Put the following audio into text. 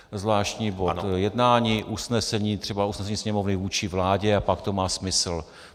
Zvláštní bod jednání, usnesení, třeba usnesení Sněmovny vůči vládě, a pak to má smysl.